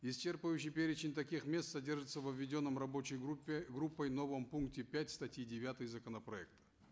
исчерпывающий перечень таких мест содержится во введенном рабочей группе группой новом пункте пять статьи девятой законопроекта